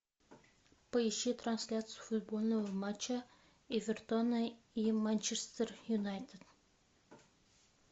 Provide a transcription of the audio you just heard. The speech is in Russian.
поищи трансляцию футбольного матча эвертона и манчестер юнайтед